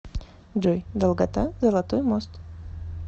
джой долгота золотой мост